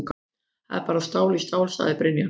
Þetta var bara stál í stál, sagði Brynjar.